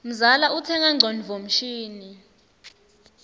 mzala utsenga ngcondvo mshini